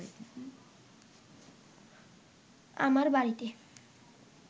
আমার বাড়িতে